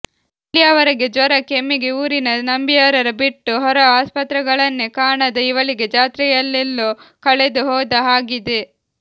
ಇಲ್ಲಿಯವರೆಗೆ ಜ್ವರ ಕೆಮ್ಮಿಗೆ ಊರಿನ ನಂಬಿಯಾರರ ಬಿಟ್ಟು ಹೊರ ಆಸ್ಪತ್ರೆಗಳನ್ನೇ ಕಾಣದ ಇವಳಿಗೆ ಜಾತ್ರೆಯಲ್ಲೆಲ್ಲೋ ಕಳೆದು ಹೋದ ಹಾಗಿದೆ